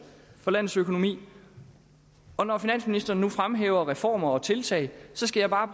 for landets økonomi når finansministeren nu fremhæver reformer og tiltag skal jeg bare